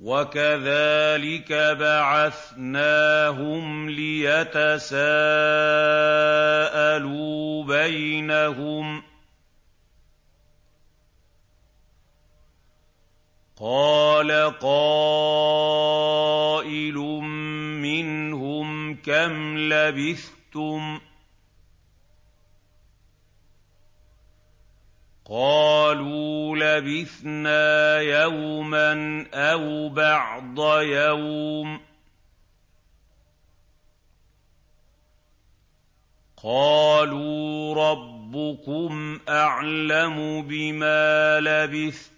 وَكَذَٰلِكَ بَعَثْنَاهُمْ لِيَتَسَاءَلُوا بَيْنَهُمْ ۚ قَالَ قَائِلٌ مِّنْهُمْ كَمْ لَبِثْتُمْ ۖ قَالُوا لَبِثْنَا يَوْمًا أَوْ بَعْضَ يَوْمٍ ۚ قَالُوا رَبُّكُمْ أَعْلَمُ بِمَا لَبِثْتُمْ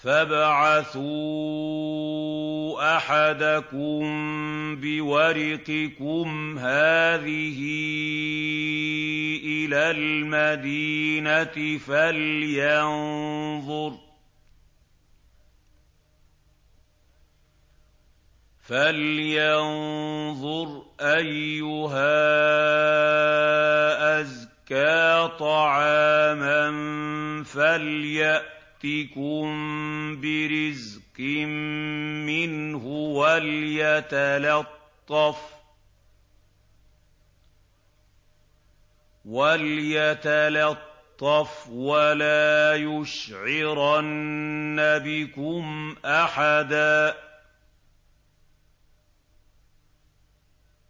فَابْعَثُوا أَحَدَكُم بِوَرِقِكُمْ هَٰذِهِ إِلَى الْمَدِينَةِ فَلْيَنظُرْ أَيُّهَا أَزْكَىٰ طَعَامًا فَلْيَأْتِكُم بِرِزْقٍ مِّنْهُ وَلْيَتَلَطَّفْ وَلَا يُشْعِرَنَّ بِكُمْ أَحَدًا